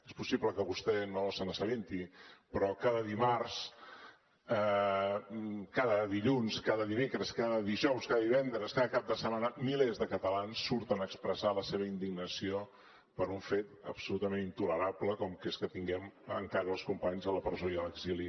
és possible que vostè no se n’assabenti però cada dimarts cada dilluns cada dimecres cada dijous cada divendres cada cap de setmana milers de catalans surten a expressar la seva indignació per un fet absolutament intolerable com que és que tinguem encara els companys a la presó i a l’exili